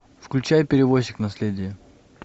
включай перевозчик наследие